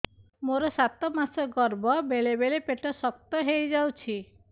ମୋର ସାତ ମାସ ଗର୍ଭ ବେଳେ ବେଳେ ପେଟ ଶକ୍ତ ହେଇଯାଉଛି